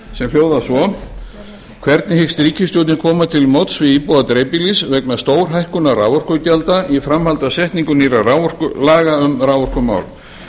sem hljóðar svo hvernig hyggst ríkisstjórnin koma til móts við íbúa dreifbýlis vegna stórhækkunar raforkugjalda í framhaldi af setningu nýrra laga um raforkumál